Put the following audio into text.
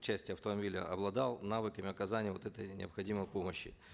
части автомобиля обладал навыками оказания вот этой необходимой помощи